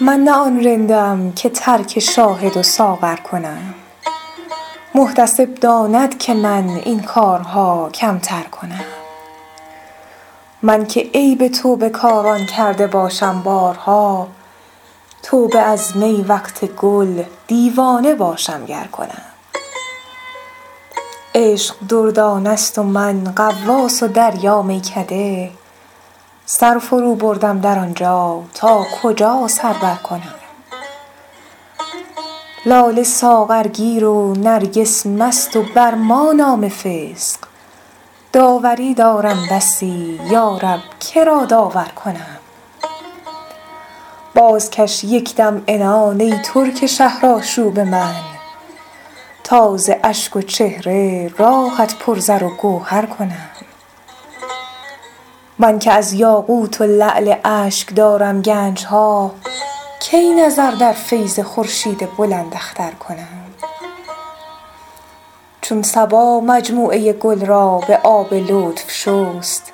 من نه آن رندم که ترک شاهد و ساغر کنم محتسب داند که من این کارها کمتر کنم من که عیب توبه کاران کرده باشم بارها توبه از می وقت گل دیوانه باشم گر کنم عشق دردانه ست و من غواص و دریا میکده سر فروبردم در آن جا تا کجا سر برکنم لاله ساغرگیر و نرگس مست و بر ما نام فسق داوری دارم بسی یا رب که را داور کنم بازکش یک دم عنان ای ترک شهرآشوب من تا ز اشک و چهره راهت پر زر و گوهر کنم من که از یاقوت و لعل اشک دارم گنج ها کی نظر در فیض خورشید بلنداختر کنم چون صبا مجموعه گل را به آب لطف شست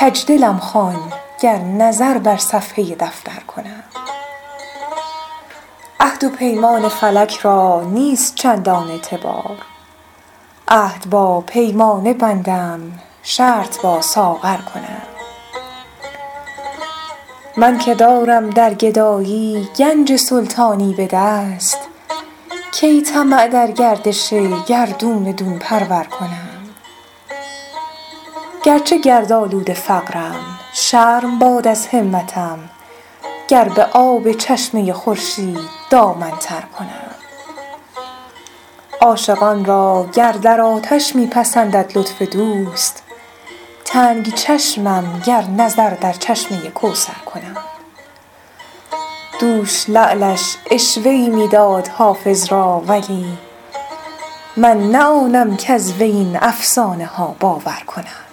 کج دلم خوان گر نظر بر صفحه دفتر کنم عهد و پیمان فلک را نیست چندان اعتبار عهد با پیمانه بندم شرط با ساغر کنم من که دارم در گدایی گنج سلطانی به دست کی طمع در گردش گردون دون پرور کنم گر چه گردآلود فقرم شرم باد از همتم گر به آب چشمه خورشید دامن تر کنم عاشقان را گر در آتش می پسندد لطف دوست تنگ چشمم گر نظر در چشمه کوثر کنم دوش لعلش عشوه ای می داد حافظ را ولی من نه آنم کز وی این افسانه ها باور کنم